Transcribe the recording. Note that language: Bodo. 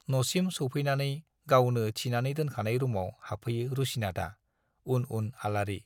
न'सिम सौफैनानै गावनो थिनानै दोनखानाय रुमाव हाबफैयो रुसिनाथआ, उन उन आलारि।